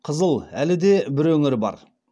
қызыл әлі де бір өңір бар